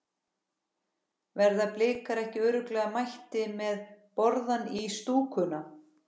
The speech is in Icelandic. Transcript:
Verða Blikar ekki örugglega mættir með borðann í stúkuna?